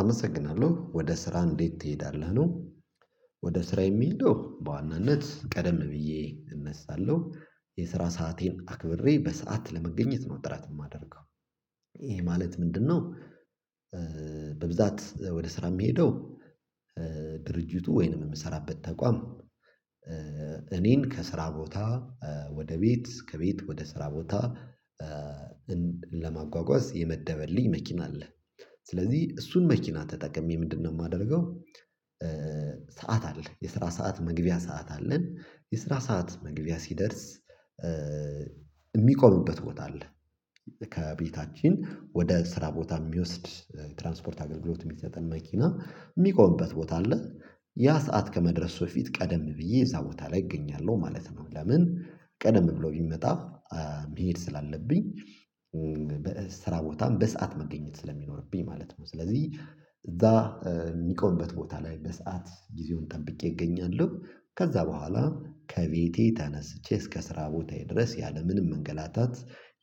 አመሰግናለሁ። ወደ ስራ እንዴት ትሄዳለህ ነው ወደ ስራ የምሄደው በዋናነት ቀደም ብዬ እነሳለሁ የስራ ሰአቴን አክብሬ በሰአት ለመገኘት ነው ጥረት የማደርገው ይሄ ማለት ምንድነው በብዛት ወደ ስራ የምሄደው ድርጅቱ ወይንም የምሰራበት ተቋም እኔን ከስራ ቦታ ወደ ቤት ከቤት ወደ ስራ ቦታ ለማጓጓዝ የመደበልኝ መኪና አለ ስለዚህ እሱን መኪና ተጠቅሜ ምንድነው የማደርገው ሰዓት አለ የስራ ሰዓት መግቢያ ሰዓት አለን የስራ ሰዓት መግቢያ ሲደርስ የሚቆምበት ቦታ አለ ከቤታችን ወደ ስራ ቦታ የሚወስድ ትራንስፖርት አገልግሎት የሚሰጠን መኪና የሚቆምበት ቦታ አለ ያ ሰዓት ከመድረሱ በፊት ቀደም ብዬ እዛ ቦታ ላይ እገኛለሁ ማለት ነው ለምን ቀደም ብሎ ቢመጣ መሄድ ስላለብኝ በስራ ቦታም በሰአት መገኘት ስለሚኖርብኝ ማለት ነው ስለዚህ እዛ የሚቆምበት ቦታ ላይ በሰአት ጊዜውን ጠብቄ እገኛለሁ ከዛ በኋላ ከቤቴ ተነስቼ እስከ ስራ ቦታዬ ድረስ ያለምንም መንገላታት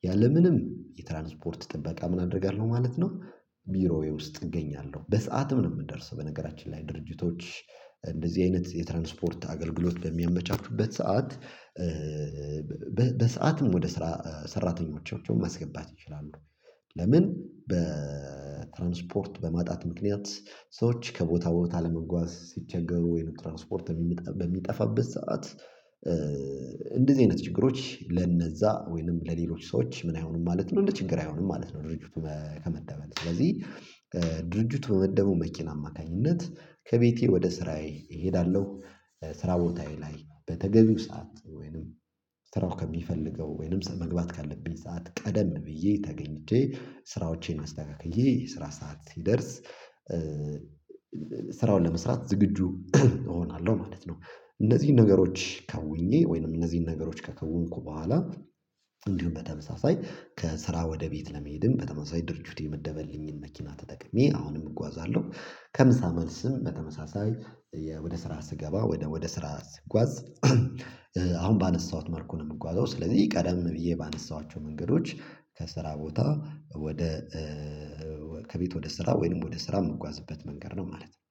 ያለምንም የትራንስፖርት ጥበቃ ምን አደርጋለሁ ማለት ነው ቢሮዬ ውስጥ እገኛለሁ በሰአትም ነው የምንደርሰው በነገራችን ላይ ድርጅቶች እንደዚህ አይነት የትራንስፖርት አገልግሎት በሚያመቻቹበት ሰዓት በሰአትም ወደ ስራ ሰራተኞቻቸውን ማስገባት ይችላሉ ለምን በትራንስፖርት በማጣት ምክንያት ሰዎች ከቦታ ቦታ ለመጓዝ ሲቸገሩ ወይንም ትራንስፖርት በሚጠፋበት ሰዓት እንደዚህ አይነት ችግሮች ለነዛ ወይንም ለሌሎች ሰዎች ምን አይሆኑም ማለት ነው እንደ ችግር አይሆኑም ማለት ነው ድርጅቱ ከመደበልን ስለዚህ ድርጅቱ በመደበው መኪና አማካኝነት ከቤቴ ወደ ስራዬ እሄዳለሁ ስራ ቦታዬ ላይ በተገቢው ሰዓት ወይንም ስራው ከሚፈልገው ወይንም መግባት ካለብኝ ሰዓት ቀደም ብዬ ተገኝቼ ስራዎቼን አስተካክዬ የስራ ሰዓት ሲደርስ ስራውን ለመስራት ዝግጁ እሆናለሁ ማለት ነው እነዚህን ነገሮች ከውኜ ወይንም እነዚህን ነገሮች ከከውንኩ በኋላ እንዲሁም በተመሳሳይ ከስራ ወደ ቤት ለመሄድም በተመሳሳይ ድርጅት የመደበልኝን መኪና ተጠቅሜ አሁንም እጓዛለሁ ከምሳ መልስም በተመሳሳይ ወደ ስራ ስገባ ወደ ስራ ስጓዝ አሁን ባነሳሁት መልኩ ነው የምጓዘው ስለዚህ ቀደም ብዬ ባነሳኋቸው መንገዶች ከስራ ቦታ ወደ ከቤት ወደ ስራ ወይንም ወደ ስራ የምጓዝበት መንገድ ነው ማለት ነው